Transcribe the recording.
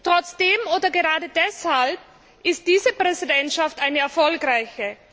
Trotzdem oder gerade deshalb ist diese Präsidentschaft eine erfolgreiche.